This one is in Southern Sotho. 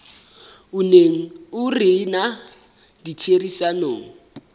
o neng o rena ditherisanong